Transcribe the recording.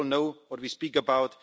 We all know what we speak about.